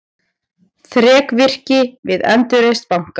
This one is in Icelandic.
Þrekvirki við endurreisn banka